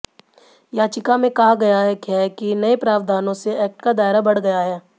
याचिका में कहा गया है कि नए प्रावधानों से एक्ट का दायरा बढ़ गया है